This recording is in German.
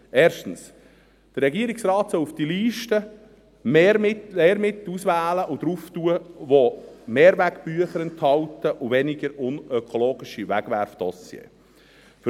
erstens: Der Regierungsrat soll für diese Liste Lehrmittel auswählen, die Mehrwegbücher und weniger unökologische Wegwerfdossiers enthalten.